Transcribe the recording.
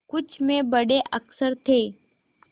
कुछ में बड़े अक्षर थे